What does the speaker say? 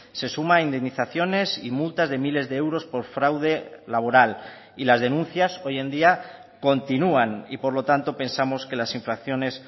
se suma a indemnizaciones y multas de miles de euros por fraude laboral y las denuncias hoy en día continúan y por lo tanto pensamos que las infracciones